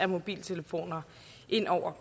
mobiltelefoner ind over